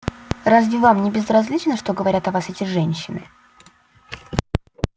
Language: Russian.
разве вам не безразлично что говорят о вас эти женщины